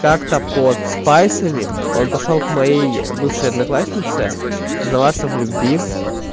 как-то под спайсами он пошёл к моей бывшей однокласснице признаваться в любви